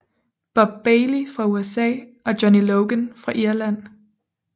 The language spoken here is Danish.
Bob Bailey fra USA og Johnny Logan fra Irland